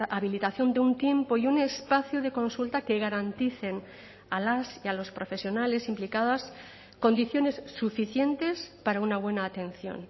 habilitación de un tiempo y un espacio de consulta que garanticen a las y a los profesionales implicadas condiciones suficientes para una buena atención